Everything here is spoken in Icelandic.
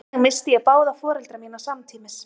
þannig missti ég báða foreldra mína samtímis